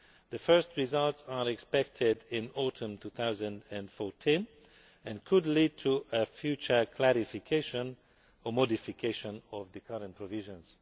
The first results are expected in autumn 2014, and could lead to future clarification or modification of the current provisions.